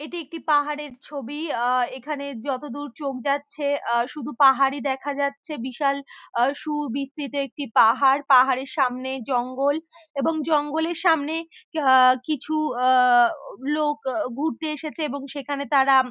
এটি একটি পাহাড়ের ছবি | আহ এখানে যতদূর চোখ যাচ্ছে আহ শুধু পাহাড়ি দেখা যাচ্ছে | বিশাল সুবিস্তিত একটি পাহাড়পাহাড়ের সামনে জঙ্গল | এবং জঙ্গলের সামনে আহ কিছু আহ লোক ঘুরতে এসেছে | এবং সেখানে তারা--